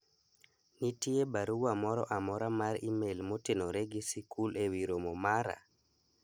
nitie barua moro amora mar email motenore gi sikul e wi romo mara